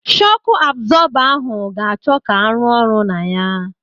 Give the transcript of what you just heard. Shọku abzọba ahụ ga-achọ ka arụ ọrụ na ya.